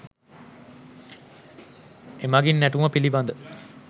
එමගින් නැටුම පිළිබඳ